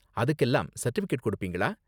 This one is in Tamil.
அதுக்கெல்லாம் சர்டிபிகேட் கொடுப்பீங்களா?